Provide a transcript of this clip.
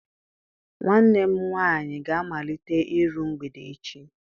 Nwanne m nwaanyị ga-amalite iru mgbede echi.